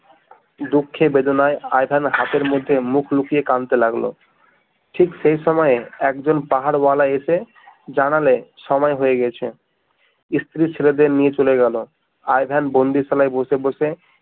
দুঃখে বেদনায় Ivan হাসির মধ্যে মুখ লুকিয়ে কানতে লাগলো ঠিক সে সময়ে একজন পাহারওয়ালা এসে জানালে সময় হয়ে গেছে স্ত্রী ছেলেদের নিয়ে চলে গেল আই ভেন বন্দীশালায় বসে বসে